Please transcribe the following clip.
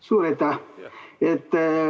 Suur aitäh!